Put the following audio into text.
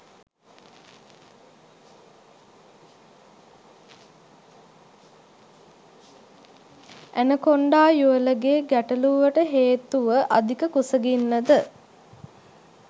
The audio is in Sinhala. ඇනකොන්ඩා යුවළගේ ගැටලූවට හේතුව අධික කුසගින්නද?